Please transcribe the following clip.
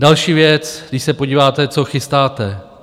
Další věc - když se podíváte, co chystáte.